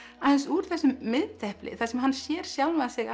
aðeins úr þessum miðdepli þar sem hann sér sjálfan sig